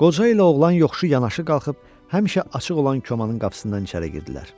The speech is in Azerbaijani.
Qoca ilə oğlan yoxuşu yanaşı qalxıb həmişə açıq olan komanın qapısından içəri girdilər.